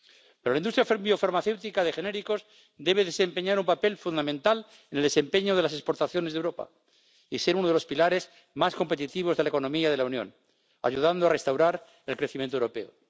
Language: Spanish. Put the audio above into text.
Pero la industria biofarmacéutica de genéricos debe desempeñar un papel fundamental en el desempeño de las exportaciones de Europa y ser uno de los pilares más competitivos de la economía de la Unión, ayudando a restaurar el crecimiento europeo.